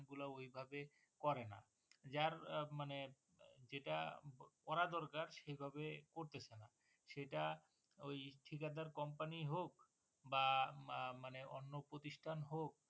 এগুলা ঐ ভাবে করে না। যার মানে যেটা করা দরকার এই ভাবে করতেছে না সেটা ঐ ঠিকাদার Company হক বা মানে অন্য প্রতিষ্ঠান হক